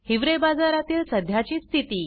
हिवरे बाजारातील सध्याची स्थिती